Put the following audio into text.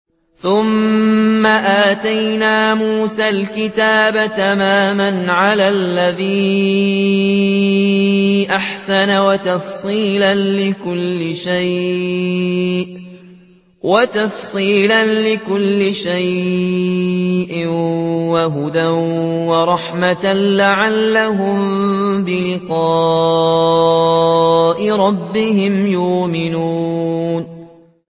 ثُمَّ آتَيْنَا مُوسَى الْكِتَابَ تَمَامًا عَلَى الَّذِي أَحْسَنَ وَتَفْصِيلًا لِّكُلِّ شَيْءٍ وَهُدًى وَرَحْمَةً لَّعَلَّهُم بِلِقَاءِ رَبِّهِمْ يُؤْمِنُونَ